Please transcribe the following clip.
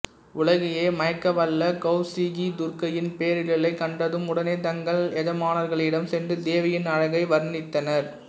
உலகையே மயக்கவள்ள கௌசிகி துர்க்கையின் பேரெழிலை கண்டதும் உடனே தங்கள் எஜமானர்களிடம் சென்று தேவியின் அழகை வர்ணித்தனர்